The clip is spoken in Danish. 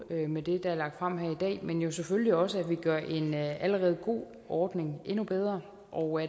med det der er lagt frem her i dag men jo selvfølgelig også at vi gør en allerede god ordning endnu bedre og